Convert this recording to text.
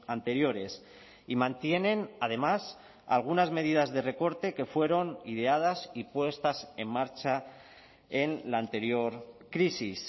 anteriores y mantienen además algunas medidas de recorte que fueron ideadas y puestas en marcha en la anterior crisis